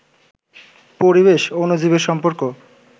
পরিবেশ, অণুজীবের সম্পর্ক